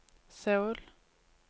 Seoul